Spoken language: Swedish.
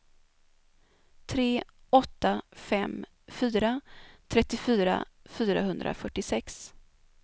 tre åtta fem fyra trettiofyra fyrahundrafyrtiosex